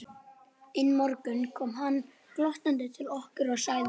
Einn morgun kom hann glottandi til okkar og sagði